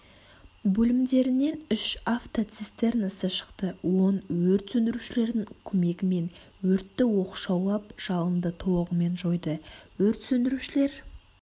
бөлімдерінен үш автоцистернасы шықты он өрт сөндірушілердің көмегімен өртті оқшаулап жалынды толығымен жойды өрт сөндірушілер